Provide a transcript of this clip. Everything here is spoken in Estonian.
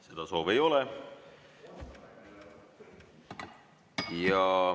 Seda soovi ei ole.